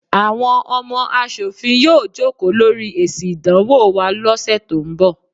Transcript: Àwọn ọmọ aṣòfin yóò jókòó lórí èsì ìdánwò wa lọ́ sẹ̀ tó ń bọ̀.